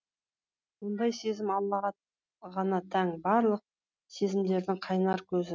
ондай сезім аллаға ғана тән барлық сезімдердің қайнар көзі